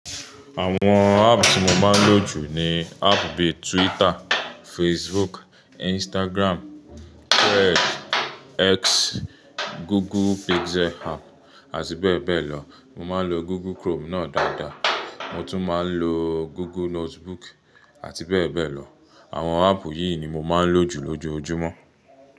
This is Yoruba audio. Àwon app ti mo máa ń lo jù ni app bi Twitter, Facebook, Instagram, Thread, X, Google Pixel app àti bẹ́ẹ̀ bẹ́ẹ̀ lọ. Mo máa ń lo Google Chrome náà dáadáa. Mo tún máa ń lo Google Notebook àti bẹ́ẹ̀ bẹ́ẹ̀ lọ. Àwon app yìí ni mo máa ń lo jù lójoojúmọ́.